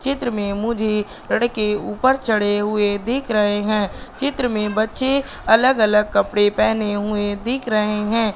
चित्र में मुझे लड़के ऊपर चढ़े हुए देख रहे हैं चित्र में बच्चे अलग अलग कपड़े पहने हुए दिख रहे हैं।